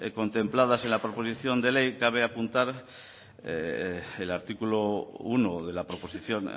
contempladas en la proposición de ley cabe apuntar el artículo uno de la proposición